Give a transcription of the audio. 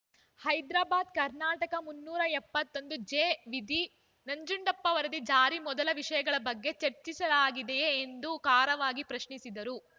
ಹೈದರಾಬಾದ್‌ ಕರ್ನಾಟಕ ಮುನ್ನೂರ ಎಪ್ಪತ್ತೊಂದು ಜೆ ವಿಧಿ ನಂಜುಂಡಪ್ಪ ವರದಿ ಜಾರಿ ಮೊದಲ ವಿಷಯಗಳ ಬಗ್ಗೆ ಚರ್ಚಿಸಲಾಗಿದೆಯೇ ಎಂದು ಖಾರವಾಗಿ ಪ್ರಶ್ನಿಸಿದರು